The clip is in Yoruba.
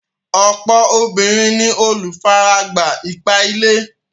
Ọ̀pọ̀ obìnrin ni olùfaragbá ipá-ilé.